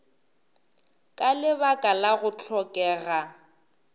ka lebaka la go hlokega